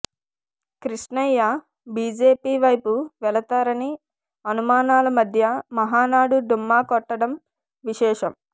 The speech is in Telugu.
కృష్ణ య్య బిజెపి వైపు వెళతారని అనుమానాల మధ్య మహానాడు డుమ్మాకొట్టడం విశేషం